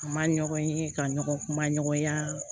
A ma ɲɔgɔn ye ka ɲɔgɔn kuma ɲɔgɔnya